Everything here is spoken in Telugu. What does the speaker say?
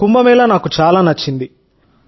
కుంభమేళా నాకు చాలా నచ్చింది